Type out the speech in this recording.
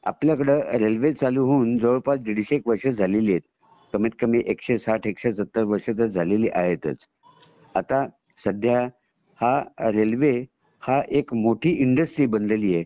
आपल्याकडे रेल्वे चालू होऊन जवळपास एक दीडशे वर्ष झालेली आहेत कमीतकमी एकशे साठ एकशे सत्तर वर्ष तर झालेली आहेतच.आता सध्या रेल्वे हा एक मोठी इंडस्ट्री बनलेली आहे